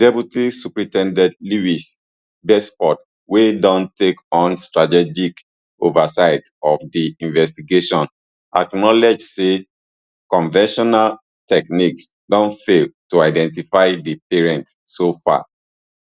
det supt lewis basford wey don take on strategic oversight of di investigation acknowledge say conventional techniques don fail to identify di parents so far